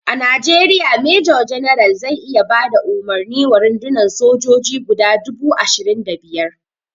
A najeriya major general zai iya bada umarni wa rundunan sojoji guda dubu ashirin da biyar